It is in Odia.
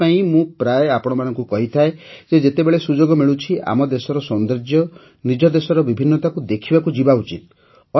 ସେଥିପାଇଁ ମୁଁ ପ୍ରାୟ ଆପଣମାନଙ୍କୁ କହିଥାଏ ଯେ ଯେତେବେଳେ ସୁଯୋଗ ମିଳୁଛି ଆମ ଦେଶର ସୌନ୍ଦର୍ଯ୍ୟ ନିଜ ଦେଶର ବିଭିନ୍ନତାକୁ ଦେଖିବାକୁ ଯିବା ଉଚିତ୍